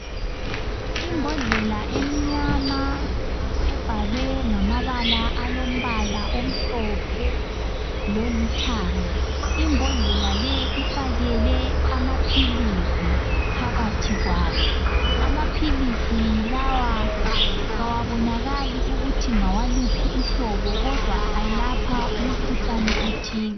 Imbodlela emnyama ebhalwe ngamabala alombala amhlophe lolithanga. Imbodlela leyi ifakele amaphilisi phakathi kwayo. Amaphilisi lawa kawabonakali ukuthi ngawaluphi uhlobo kodwa ayelapha umkhuhlane othile.